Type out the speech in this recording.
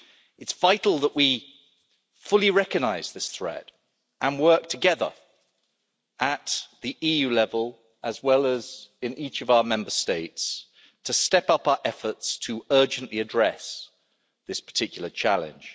It's vital that we fully recognise this threat and work together at EU level, as well as in each of our Member States, stepping up our efforts urgently to address this particular challenge.